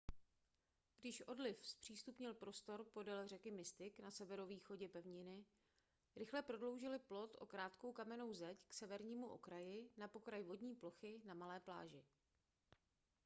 když odliv zpřístupnil prostor podél řeky mystic na severovýchodě pevniny rychle prodloužili plot o krátkou kamennou zeď k severnímu okraji na pokraj vodní plochy na malé pláži